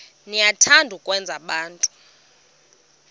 niyathanda ukwenza abantu